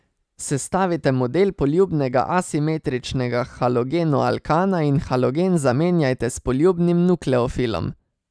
Sestavite model poljubnega asimetričnega halogenoalkana in halogen zamenjajte s poljubnim nukleofilom.